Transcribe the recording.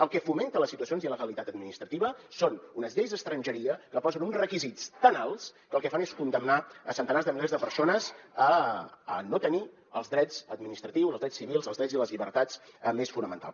el que fomenta les situacions d’il·legalitat administrativa són unes lleis d’estrangeria que posen uns requisits tan alts que el que fan és condemnar centenars de milers de persones a no tenir els drets administratius els drets civils els drets i les llibertats més fonamentals